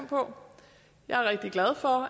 på jeg er rigtig glad for